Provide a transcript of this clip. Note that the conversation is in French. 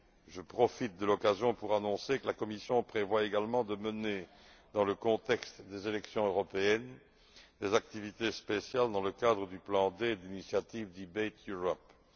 Je profite de l'occasion pour annoncer que la Commission prévoit également de mener, dans le contexte des élections européennes, des activités spéciales dans le cadre du plan D d'initiative du Debate Europe.